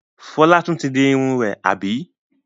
Fọlá tún ti di irun rẹ̀, àbí?